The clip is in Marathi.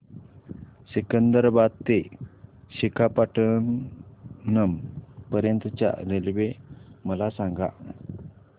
सिकंदराबाद ते विशाखापट्टणम पर्यंत च्या रेल्वे मला सांगा